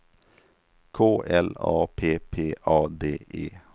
K L A P P A D E